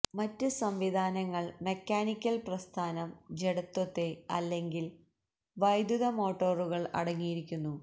മറ്റ് സംവിധാനങ്ങൾ മെക്കാനിക്കൽ പ്രസ്ഥാനം ജഡത്വത്തെ അല്ലെങ്കിൽ വൈദ്യുത മോട്ടോറുകൾ അടങ്ങിയിരിക്കുന്നു